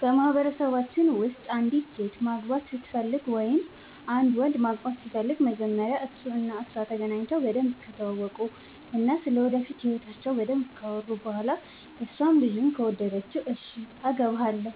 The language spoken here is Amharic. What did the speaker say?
በማህበረሰባችን ውስጥ አንዲት ሴት ማግባት ስትፈልግ ወይም አንድ ወንድ ማግባት ሲፈልግ መጀመሪያ እሱ እና እሷ ተገናኝተው በደንብ ከተዋወቁ እና ስለ ወደፊት ህይወታቸው በደንብ ካወሩ በኋላ እሷም ልጁን ከወደደችው እሽ አገባሀለሁ